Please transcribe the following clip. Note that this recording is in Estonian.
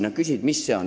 Nad küsisid, mis see on.